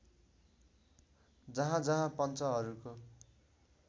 जहाँ जहाँ पञ्चहरूको